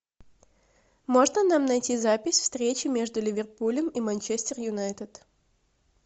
можно нам найти запись встречи между ливерпулем и манчестер юнайтед